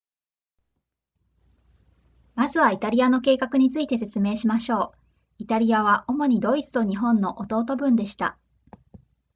まずはイタリアの計画について説明しましょうイタリアは主にドイツと日本の弟分でした